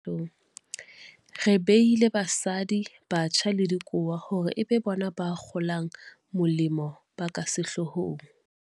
Re beile basadi, batjha le dikowa hore e be bona bakgolamolemo ba ka sehlohong.